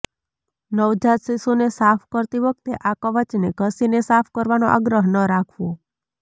નવજાત શિશુને સાફ કરતી વખતે આ કવચને ઘસીને સાફ કરવાનો આગ્રહ ન રાખવો